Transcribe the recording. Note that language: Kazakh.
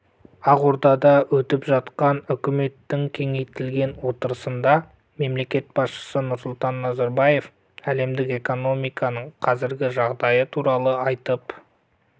ақордада өтіп жатқан үкіметтің кеңейтілген отырысында мемлекет басшысы нұрсұлтан назарбаев әлемдік экономиканың қазіргі жағдайы туралы айтып